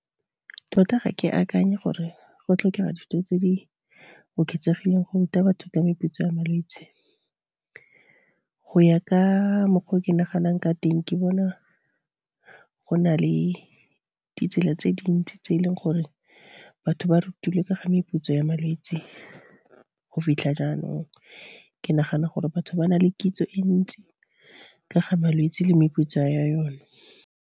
Tota ga ke akanye gore go tlhokega tse di oketsegileng go ruta batho ka meputso ya malwetse. Go ya ka mokgwa o ke naganang ka teng ke bona go na le ditsela tse dintsi, tse e leng gore batho ba rutilwe ke ga meputso ya malwetse go fitlha jaanong. Ke nagana gore batho ba na le kitso e ntsi ka ga malwetse le meputso ya yone.